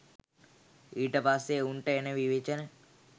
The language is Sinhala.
ඊට පස්සෙ උන්ට එන විවේචන